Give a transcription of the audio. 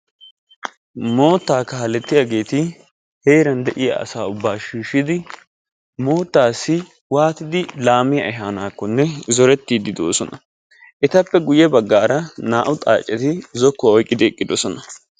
Mootta kaaletiyaageti heeran de'iyaa asa ubba shiishshidi moottassi waattidi laammiya ehanakkonne zooretiddi de'oosona. etappe guyye baggara naa''u xaaaccetidi zokkuwa oyqqidi eqqidoosona.